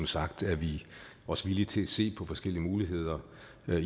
sagt er vi også villige til at se på forskellige muligheder